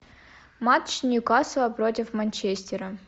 матч ньюкасла против манчестера